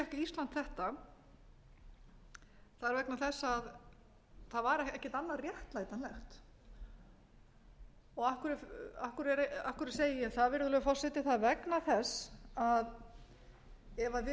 ísland þetta það er vegna þess að það var ekkert annað réttlætanlegt af hverju segi ég það virðulegur forseti það er vegna þess að ef við hefðum